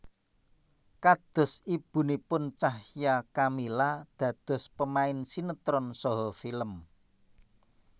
Kados ibunipun Cahya Kamila dados pemain sinétron saha film